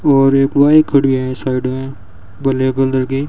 और एक बाइक खड़ी है साइड में ब्लैक कलर की।